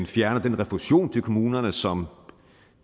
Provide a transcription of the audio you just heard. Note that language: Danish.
fjerner den refusion til kommunerne som